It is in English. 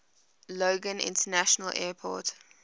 logan international airport